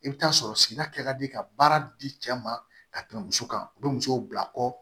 I bɛ taa sɔrɔ sigida di ka baara di cɛ ma ka tɛmɛ muso kan u bɛ musow bila kɔ